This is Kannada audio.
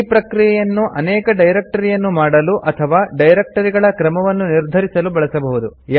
ಈ ಪ್ರಕ್ರಿಯೆಯನ್ನು ಅನೇಕ ಡೈರೆಕ್ಟರಿಯನ್ನು ಮಾಡಲು ಅಥವಾ ಡೈರೆಕ್ಟರಿಗಳ ಕ್ರಮವನ್ನು ನಿರ್ಧರಿಸಲು ಬಳಸಬಹುದು